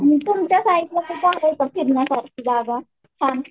तुमच्या साईडला आहे का फिरण्यासारखी जागा सांग.